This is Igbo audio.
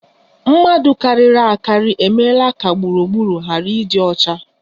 Mmadụ karịrị akarị emeela ka gburugburu ghara ịdị ọcha